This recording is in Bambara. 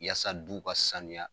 Yaasa duw ka sanuya